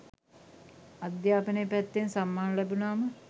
අධ්‍යාපනය පැත්තෙන් සම්මාන ලැබුණාම